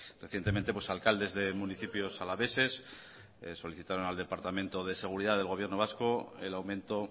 recientemente alcaldes de municipios alaveses solicitaron al departamento de seguridad del gobierno vasco el aumento